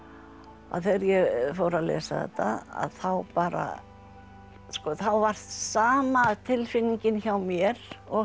að þegar ég fór að lesa þetta að þá bara varð sama tilfinningin hjá mér og hjá